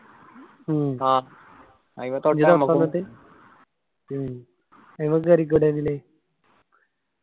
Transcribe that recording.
മ്മ് മ്മ് അയ്‌മ കേറിക്കൂടെ എന്നെങ്കില്